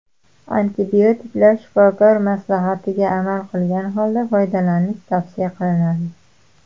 Antibiotiklar Shifokor maslahatiga amal qilgan holda foydalanish tavsiya qilinadi.